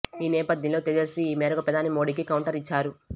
ఈ నేపథ్యంలో తేజస్వీ ఈ మేరకు ప్రధాని మోడీకి కౌంటర్ ఇచ్చారు